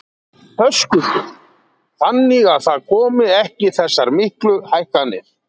Höskuldur: Þannig að það komi ekki þessar miklu hækkanir?